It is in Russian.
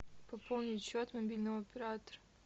пополнить счет мобильного оператора